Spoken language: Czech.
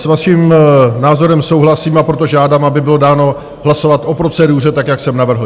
S vaším názorem souhlasím, a proto žádám, aby bylo dáno hlasovat o proceduře tak, jak jsem navrhl.